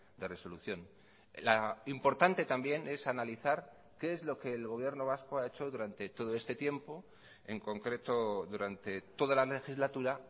de resolución la importante también es analizar qué es lo que el gobierno vasco ha hecho durante todo este tiempo en concreto durante toda la legislatura